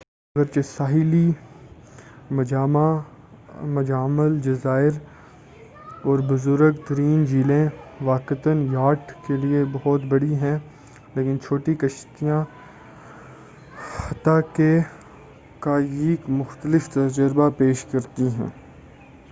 اگرچہ ساحلی مجامع الجزائر اور بزرگ ترین جھیلیں واقعتا یاٹ کے لئے بہت بڑی ہیں لیکن چھوٹی کشتیاں حتی کہ قایق مختلف تجربہ پیش کرتی ہیں